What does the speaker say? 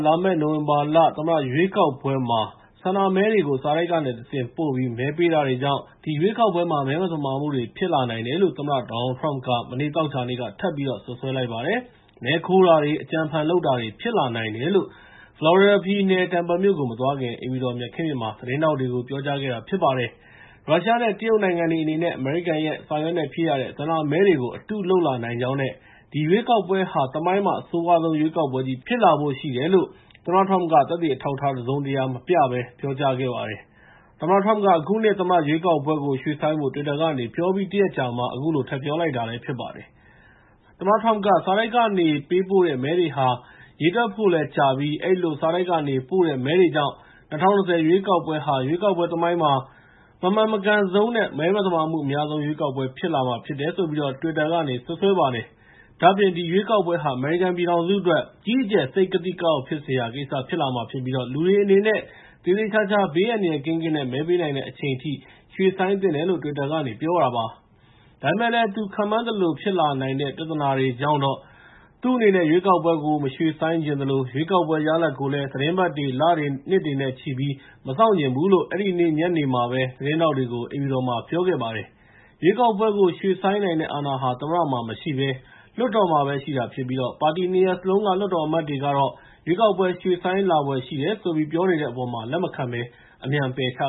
လာမယ့် နိုဝင်ဘာလ အမေရိကန်သမ္မတ ရွေးကောက်ပွဲမှာ ဆန္ဒမဲတွေကို စာတိုက်ကနေတဆင့် ပို့ပြီး မဲပေးတာတွေကြောင့် ဒီရွေးကောက်ပွဲမှာ မဲသမာမှုတွေ ဖြစ်လာနိုင်တယ်လို့ သမ္မတ Donald Trump က မနေ့ သောကြာနေ့က ထပ်ပြီးတော့ စွပ်စွဲလိုက်ပါတယ်။ မဲခိုးတာတွေ၊ အကြံအဖန်လုပ်တာတွေ ဖြစ်လာနိုင်တယ်လို့ ဖလော်ရီဒါပြည်နယ် Tampa မြို့ကို မသွားခင် အိမ်ဖြူတော် မြက်ခင်းပြင်မှာ သတင်းထောက်တွေကို ပြောကြားခဲ့တာ ဖြစ်ပါတယ်။ ရုရှားနဲ့ တရုတ်နိုင်ငံတွေ အနေနဲ့ အမေရိကန်ရဲ့ စာရွက်နဲ့ဖြည့်ရတဲ့ ဆန္ဒမဲတွေကို အတုလုပ်လာနိုင်ကြောင်းနဲ့ ဒီရွေးကောက်ပွဲကာ သမိုင်းမှာ အဆိုးရွားဆုံး ရွေးကောက်ပွဲကြီး ဖြစ်လာဖို့ရှိတယ်လို့ သမ္မတ Trump က သက်သေအထောက်အထား တစုံတရာ မပြဘဲ ပြောကြားလိုက်ပါတယ်။ သမ္မတ Trump က အခုနှစ် သမ္မတရွေးကောက်ပွဲကို ရွှေ့ဆိုင်းဖို့ တွစ်တာကနေ ပြောပြီး တရက်အကြာမှာ အခုလို ထပ်ပြောလိုက်တာ ဖြစ်ပါတယ်။ သမ္မတ Trump က စာတိုက်ကနေ ပေးပို့တဲ့ မဲတွေဟာ ရေတွက်ဖို့လည်းကြာပြီး အဲဒီလို စာတိုက်ကနေပို့တဲ့ မဲတွေကြောင့် ၂၀၂၀ ရွေးကောက်ပွဲဟာ ရွေးကောက်ပွဲသမိုင်းမှာ မမှန်မကန်ဆုံးနဲ့ မသမာမှုအများဆုံး ရွေးကောက်ပွဲ ဖြစ်လာမှာဖြစ်တယ်လို့ တွစ်တာကနေ စွပ်စွဲလိုက်ပါတယ်။ ဒါ့အပြင် ဒီရွေးကောက်ပွဲဟာ အမေရိကန်ပြည်ထောင်စုအတွက် အကြီးအကျယ် စိတ်ကသိကအောက် ဖြစ်စရာကိစ္စ ဖြစ်လာမှာဖြစ်ပြီး လူတွေအနေနဲ့ သေသေချာချာ ဘေးအန္တရာယ်ကင်းကင်း မဲပေးနိုင်တဲ့ အချိန်အထိ ရွှေ့ဆိုင်းသင့်တယ်လို့ တွစ်တာကနေ ပြောလိုက်ပါတယ်။ ဒါပေမယ့်လည်း သူခန့်မှန်းသလို ဖြစ်လာနိုင်တဲ့ ပြဿနာတွေကြောင့်တော့ သူ့အနေနဲ့ ရွေးကောက်ပွဲကို မရွှေ့ဆိုင်းချင်သလို ရွေးကောက်ပွဲ ရလဒ်ကိုလည်း သီတင်းပတ်တွေ၊ လတွေ၊ နှစ်တွေနဲ့ချီပြီး မစောင့်ချင်ဘူးလို့ အဲဒီနေ့ညနေမှာပဲ သတင်းထောက်တွေကို အိမ်ဖြူတော်မှာ ပြောပါတယ်။ ရွေးကောက်ပွဲကို ရွှေ့ဆိုင်းနိုင်တဲ့ အာဏာဟာ သမ္မတမှာမရှိဘဲ လွှတ်တော်မှာပဲ ရှိတာဖြစ်ပြီး ပါတီ ၂ ရပ်စလုံးက လွှတ်တော်အမတ်တွေကတော့ ရွေးကောက်ပွဲ ရွှေ့ဆိုင်းလာဖွယ် ရှိတယ်ဆိုပြီး ပြောနေတဲ့အပေါ်မှာ လက်မခံဘဲ အမြန်ပယ်ချ